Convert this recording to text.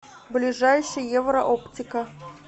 ближайший еврооптика